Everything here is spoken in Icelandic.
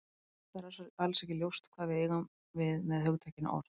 Fyrir það fyrsta er alls ekki ljóst hvað við eigum við með hugtakinu orð.